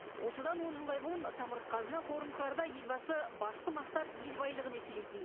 осыдан он жылдай бұрын самұрық қазына қорын құрарда елбасы басты мақсат ел байлығын еселейтін